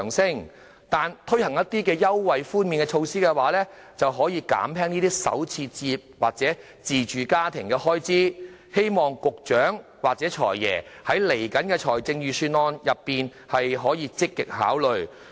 相反，推行一些優惠或寬免措施，卻可減輕首次置業者或自住家庭的開支，希望局長或"財爺"在接下來的財政預算案積極考慮。